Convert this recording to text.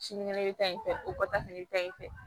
Sinikɛnɛ bɛ ta in fɛ o kɔ ta fɛnɛ bɛ taa yen fɛ